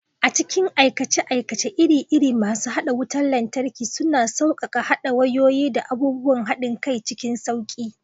A cikin aikace-aikace iri-iri, masu haɗa wutar lantarki suna sauƙaƙe haɗa wayoyi da abubuwan haɗin kai cikin sauƙi.